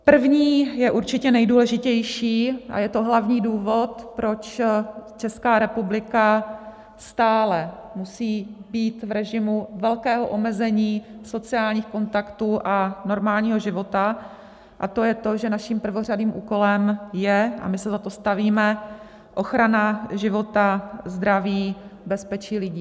První je určitě nejdůležitější a je to hlavní důvod, proč Česká republika stále musí být v režimu velkého omezení sociálních kontaktů a normálního života, a to je to, že naším prvořadým úkolem je, a my se za to stavíme, ochrana života, zdraví, bezpečí lidí.